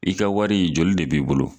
I ka wari, joli de b'i bolo ?